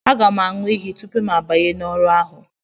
Aga m aṅụ iyi tupu mụ abanye n'ọrụ ahụ